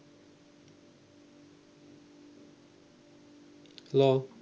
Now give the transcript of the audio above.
hello